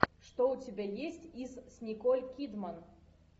что у тебя есть из с николь кидман